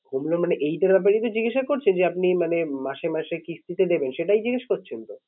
Home loan মানে এইটার ব্যাপারেই তো জিজ্ঞাসা করছেন? যে আপনি মানে মাসে মাসে কিস্তিতে দেবেন সেটাই জিজ্ঞেস করছেন তো?